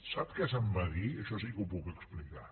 sap què se’m va dir això sí que ho puc explicar